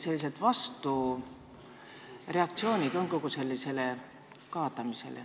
Millised vastureaktsioonid sellele on?